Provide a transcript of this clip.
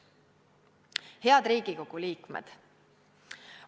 Head Riigikogu liikmed!